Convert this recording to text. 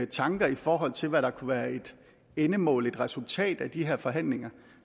tanker i forhold til hvad der kunne være et endemål et resultat af de her forhandlinger